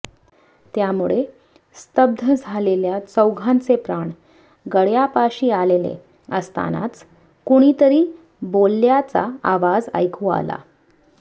त्यामुळे स्तब्ध झालेल्या चौघांचे प्राण गळ्यापाशी आलेले असतानाच कुणीतरी बोलल्याचा आवाज ऐकू आला